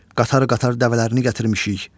Qatar-qatar dəvələrini gətirmişik.